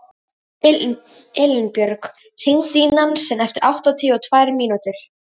Elínbjörg, hringdu í Nansen eftir áttatíu og tvær mínútur.